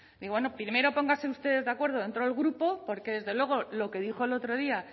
y bueno primero pónganse ustedes de acuerdo dentro del grupo porque desde luego lo que dijo el otro día